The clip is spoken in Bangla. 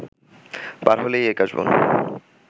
পার হলেই এ কাশবন